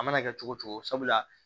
A mana kɛ cogo cogo sabula